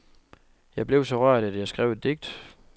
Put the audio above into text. Jeg blev så rørt, at jeg skrev et digt.